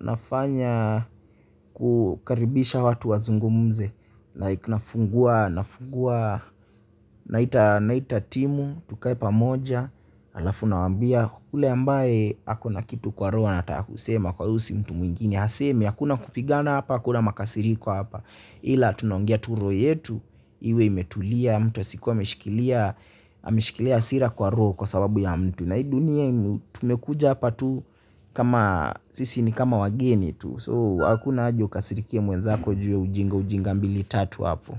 ninafanya kukaribisha watu wazungumze ninafungua naita timu tukae pamoja halafu ninawambia yule ambaye ako na kitu kwa roho anataka kusema kuyahusu mtu mwingine aseme hakuna kupigana hapa hakuna makasiriko hapa ila tunaongea tu roho yetu, iwe imetulia mtu asikuwe ameshikilia hasira kwa roho kwa sababu ya mtu. Na hii dunia tumekuja hapa tu kama, sisi ni kama wageni tu. So, hakuna haja ukasirikie mwenzako juu ya ujinga ujinga mbili tatu hapo.